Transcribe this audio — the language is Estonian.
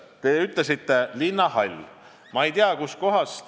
Te ütlesite: linnahall.